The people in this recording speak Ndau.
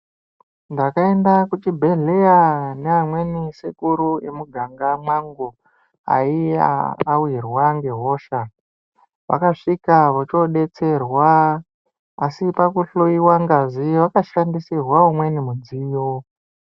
Ndakuenda kuchibhedhlera neamweni sekuru emuganga mwangu aiya awirwa ngehosha vakasvika vochodetserwa asi pakuhloyiwa ngazi vakashandisirwa umweni mudziyo.